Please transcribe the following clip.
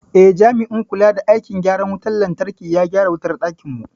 Eh, jami'in kula da aikin gyaran wutar lantarki ya gyara wutar dakinmu.